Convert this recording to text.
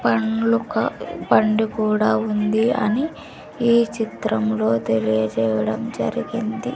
పండ్ల కా పండు కూడా ఉంది అని ఈ చిత్రంలో తెలియజేయడం జరిగింది.